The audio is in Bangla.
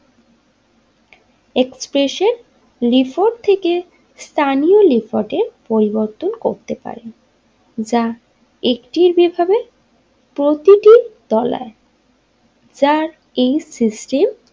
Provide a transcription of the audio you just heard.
এক্সপ্রেসের লিফোর্ড থেকে স্থানীয় লিফোর্ডে পরিবর্তন করতে পারে যা একটির বিফাবে প্রতিটি তলায় যার এই সিস্টেম।